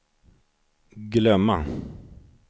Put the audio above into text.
glömma